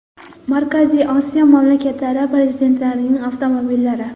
Markaziy Osiyo mamlakatlari prezidentlarining avtomobillari .